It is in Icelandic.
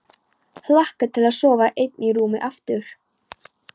Hlakka til að sofa ein í rúmi aftur.